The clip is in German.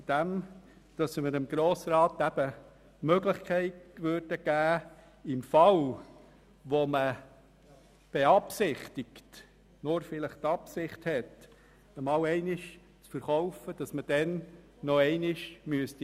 Er sieht vor, dass man noch einmal an den Grossen Rat gelangen müsste, falls man einmal zu verkaufen beabsichtigt.